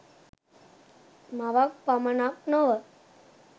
මවක් පමණක් නොව